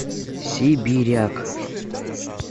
сибиряк